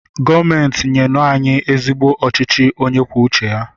Gọọmenti nyenu anyị ezigbo ọchịchị onye kwuo uche ya!